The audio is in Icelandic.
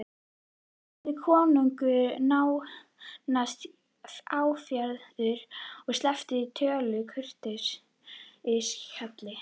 spurði konungur nánast áfjáður og sleppti öllu kurteisishjali.